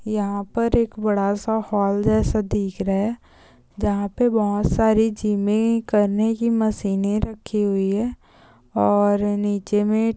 यहां पर एक बड़ा सा हॉल जैसा दिख रहा है जहां पे बहुत सारे जीम करने की मशीने रखी हुई है और नीचे में --